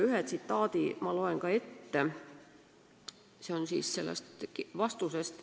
Ühe tsitaadi ma loen ka ette, see on sellest vastusest.